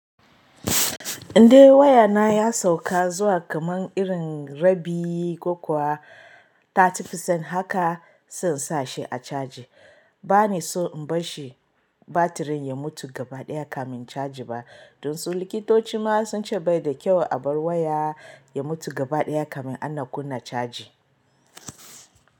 Indai wayana ya sauka zuwa kaman irin rabi ko kuwa talatin cikin ɗari, haka zan sa shi a caji. Ba ni so in bar shi batirin ya mutu gaba ɗaya kamin caji ba, don su likitoci ma sun ce bai da kyau a bar waya ya mutu gaba ɗaya kamin ana kunna caji.